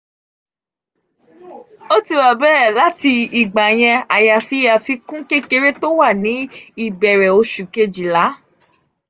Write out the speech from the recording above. ó ti wà bẹ́è láti ìgbà yẹn àyàfi àfikún kékeré tó wà ní ìbẹ̀rẹ̀ osù kejìlá.